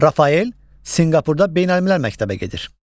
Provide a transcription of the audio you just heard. Rafael Sinqapurda Beynəlmiləl məktəbə gedir.